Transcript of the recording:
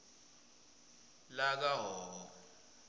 lakahhohho